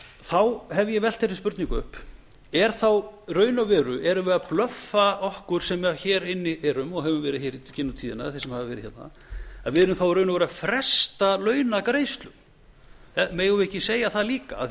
þá hef ég velt þeirri spurningu upp í raun og veru erum við að blöffa okkur sem hér inni erum og höfum verið hér í gegnum tíðina þeir sem hafa verið hérna að við erum þá í raun og veru að fresta launagreiðslum megum við ekki segja það líka af því að ef